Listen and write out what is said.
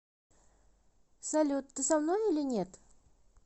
салют ты со мной или нет